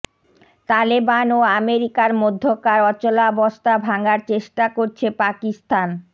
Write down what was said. তালেবান ও আমেরিকার মধ্যকার অচলাবস্থা ভাঙার চেষ্টা করছে পাকিস্তান